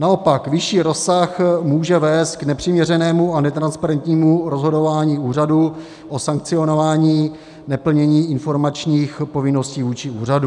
Naopak vyšší rozsah může vést k nepřiměřenému a netransparentnímu rozhodování úřadu o sankcionování neplnění informačních povinností vůči úřadu.